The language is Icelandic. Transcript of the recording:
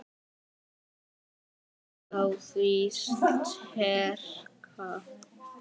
Passa mig á því sterka.